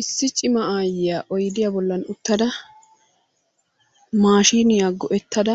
Issi cima aayyiya oydiya bollan uttada maashiiniya go"ettada